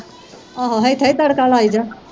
ਆਹ ਇਥੇ ਹੀ ਤੜਕਾ ਲਈ ਜਾ